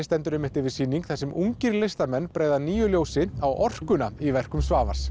stendur einmitt yfir sýning þar sem ungir listamenn bregða nýju ljósi á orkuna í verkum Svavars